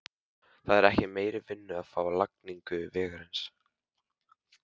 Það er ekki meiri vinnu að fá við lagningu vegarins.